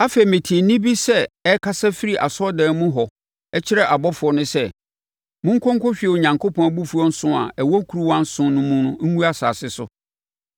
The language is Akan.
Afei, metee nne bi sɛ ɛrekasa firi asɔredan mu hɔ kyerɛ abɔfoɔ no sɛ, “Mo nkɔ nkɔhwie Onyankopɔn abufuo nson a ɛwɔ nkuruwa nson mu no ngu asase so.”